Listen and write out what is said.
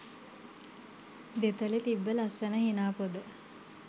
දෙතොලෙ තිබ්බ ලස්සන හිනා පොද